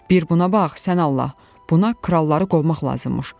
Bir buna bax, sən Allah, buna kralları qovmaq lazımmış.